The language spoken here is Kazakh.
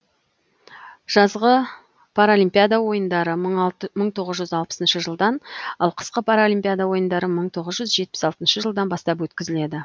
жазғы паралимпиада ойындары мың тоғыз жүз алпысыншы жылдан ал қысқы параолимпиада ойындары мың тоғыз жүз жетпіс алтыншы жылдан бастап өткізіледі